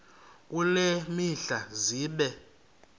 kule mihla zibe